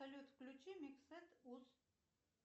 салют включи микс сет ус